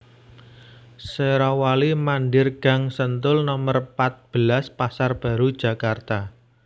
Sherawali Mandhir Gang Sentul Nomer pat belas Pasar Baru Jakarta